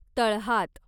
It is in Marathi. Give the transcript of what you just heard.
तळहात